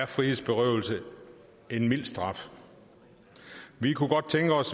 frihedsberøvelse er en mild straf vi kunne godt tænke os